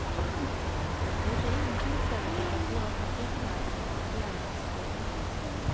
Det är ingen tillfällighet att våra trafikmärken har triangelns form.